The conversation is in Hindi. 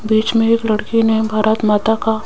बीच में एक लड़की ने भारत माता का--